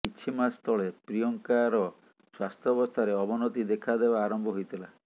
କିଛି ମାସ ତଳେ ପ୍ରିୟଙ୍କାର ସ୍ବାସ୍ଥ୍ୟାବସ୍ଥାରେ ଅବନତି ଦେଖାଦେବା ଆରମ୍ଭ ହୋଇଥିଲା